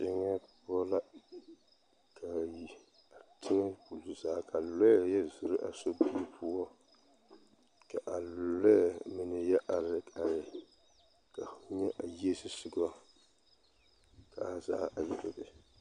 Teŋɛ poɔ la ka a teŋɛ ɡbuli zaa ka lɔɛ yɔ zoro a sobiri poɔ ka a lɔɛ mine yɛ are are ka fo nyɛ a yie zusoɡa a zaa a yɛ bebe.